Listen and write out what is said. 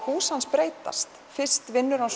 hús hans breytast fyrst vinnur hann